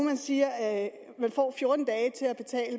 siger at man får fjorten dage til at